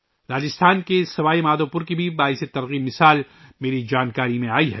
راجستھان میں سوائی مادھوپور کی ایک متاثر کن مثال بھی میرے علم میں آئی ہے